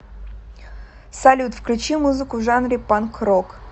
салют включи музыку в жанре панк рок